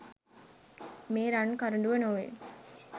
මේ රන් කරඬුව නොවේ.